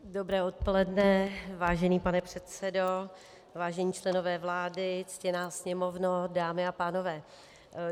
Dobré odpoledne, vážený pane předsedo, vážení členové vlády, ctěná Sněmovno, dámy a pánové.